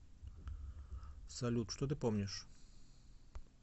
салют что ты помнишь